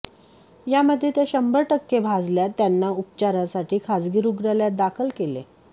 यामध्ये त्या शंभर टक्के भाजल्या त्यांना उपचारासाठी खाजगी रुग्णालयात दाखल केले